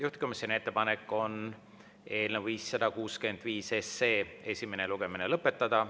Juhtkomisjoni ettepanek on eelnõu 565 esimene lugemine lõpetada.